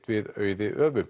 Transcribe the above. við Auði